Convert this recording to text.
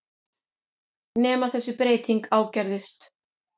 Nema þessi breyting ágerðist.